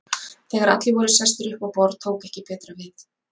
Þegar allir voru sestir upp á borð tók ekki betra við.